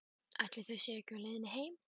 Ætli þau séu ekki á leiðinni heim.